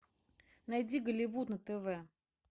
найди голливуд на тв